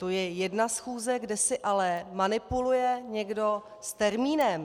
To je jedna schůze, kde si ale manipuluje někdo s termínem.